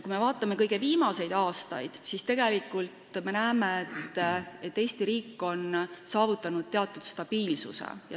Kui me vaatame kõige viimaseid aastaid, siis näeme, et Eesti riik on saavutanud teatud stabiilsuse.